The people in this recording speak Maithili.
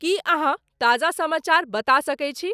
की अहाँताजा समाचार बता सके छी